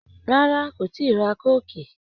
Rárá, kò tíi ra kóòkì